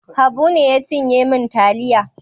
Habu ne ya cinye min taliya.